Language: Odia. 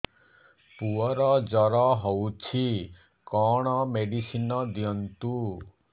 ପୁଅର ଜର ହଉଛି କଣ ମେଡିସିନ ଦିଅନ୍ତୁ